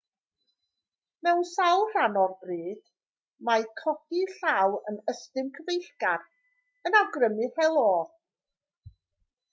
mewn sawl rhan o'r byd mae codi llaw yn ystum cyfeillgar yn awgrymu helo